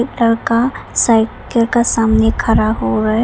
लड़का साइकिल के सामने खड़ा हुआ है।